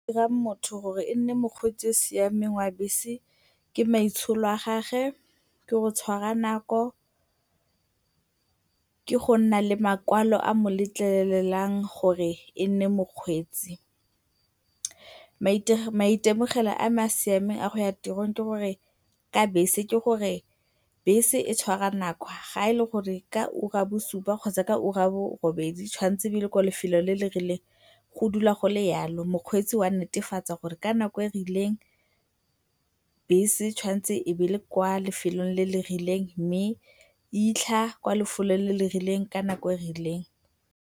Dirang motho gore e nne mokgweetsi yo o siameng wa bese ke maitsholo a gagwe, ke go tshwara nako, ke go nna le makwalo a a mo letlelelang gore e nne mokgweetsi. Maitemogelo a a siameng a go ya tirong ke gore bese e tshwara nako, fa e le gore ka ura ya bosupa kgotsa ka ura ya bobedi e tshwantse go ba le kwa lefelong le le rileng go dula go le jalo, mokgweetsi o a netefatsa gore ka nako e e rileng bese e tshwanetse ebe e le kwa lefelong le le rileng mme e fitlha kwa lefelong le le rileng ka nako e e rileng.